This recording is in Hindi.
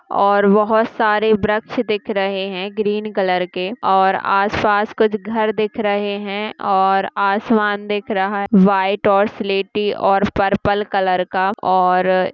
और बहोत सारे व्रक्ष दिख रहे है ग्रीन कलर के और आस-पास कुछ घर दिख रहा है और आसमान दिख रहा है वाइट और स्लेटी और पर्पल कलर का और--